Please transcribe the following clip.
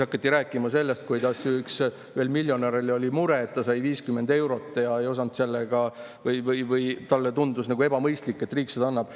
Hakati rääkima sellest, kuidas ühel miljonäril oli mure, et ta sai 50 eurot toetust ja ta ei osanud sellega või õigemini talle tundus ebamõistlik, et riik seda annab.